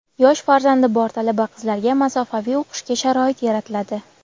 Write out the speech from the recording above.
yosh farzandi bor talaba-qizlarga masofaviy o‘qishga sharoit yaratiladi;.